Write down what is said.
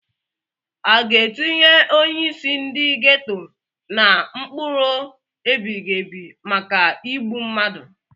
Aga etinye onyeisi ndi geto na mkpọrọ ebighị ebi maka igbu mmadu?